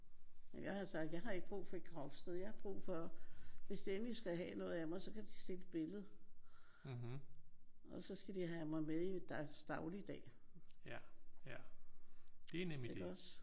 Jeg har sagt jeg har ikke brug for et gravsted. Jeg har brug for hvis de endelig skal have noget af mig så kan de se et billede. Og så skal de have mig med i deres dagligdag iggås?